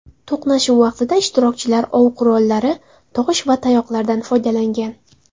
To‘qnashuv vaqtida ishtirokchilar ov qurollari, tosh va tayoqlardan foydalangan.